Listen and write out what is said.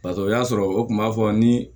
Barisa o y'a sɔrɔ o kun b'a fɔ ni